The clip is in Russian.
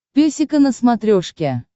песика на смотрешке